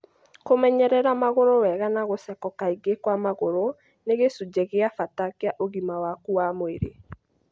Kũmenyerera magũrũ wega na gũceko kaingĩ kwa magũrũ ni gĩcunjĩ gia bata kĩa ũgima waku wa mwĩrĩ.